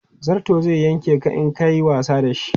Zarto zai yanke ka in ka yi wasa da shi.